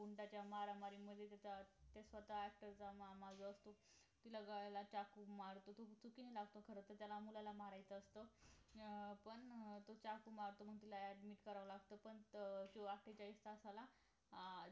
त्या गुंडाच्या मारामारी मध्ये त्याच्यात स्वतः त्याचा मामाच हे असतो तिला गळ्याला चाकू मारतो तो चुकून लागतो खरं तर त्याला मुलाला मारायचं असतं अं पण तो चाकु मारतो मग तिला admit करावं लागत पण आठेचाळीस तासाला